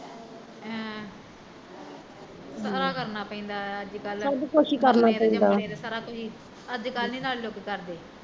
ਹਾਂ ਸਾਰਾ ਕਰਨਾ ਪੈਂਦਾ ਆ ਅੱਜ ਕੱਲ ਮਰਨੇ ਤੇ ਜਮਣੇ ਤੇ ਸਾਰਾ ਕੁਛ ਈ, ਅੱਜ ਕੱਲ ਨੀ ਨਾਲੇ ਲੋਕੀਂ ਕਰਦੇ